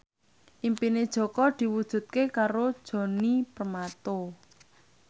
impine Jaka diwujudke karo Djoni Permato